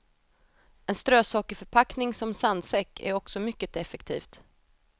En strösockerförpackning som sandsäck är också mycket effektivt.